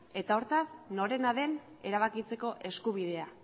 eta hortaz norena den erabakitzeko eskubidea